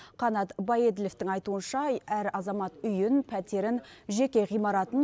қанат баеділовтің айтуынша әр азамат үйін пәтерін жеке ғимаратын